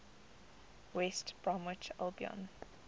west bromwich albion